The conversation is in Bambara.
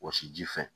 Wɔsi ji fɛ